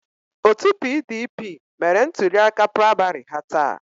Otu PDP mere ntuliaka praịmarị ha taa.